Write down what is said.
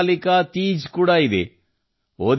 ಹರ್ತಾಲಿಕಾ ತೀಜ್ ಕೂಡ ಆಗಸ್ಟ್ 30 ರಂದು